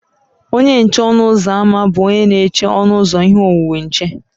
Onye nche ọnụ ụzọ ámá bụ onye na-eche ọnụ ụzọ ihe onwunwe nche